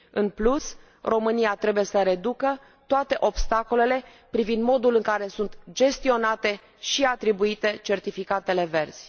În plus, România trebuie să reducă toate obstacolele privind modul în care sunt gestionate și atribuite certificatele verzi.